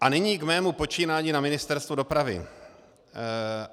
A nyní k mému počínání na Ministerstvu dopravy.